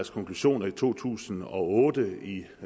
konklusion i to tusind og otte i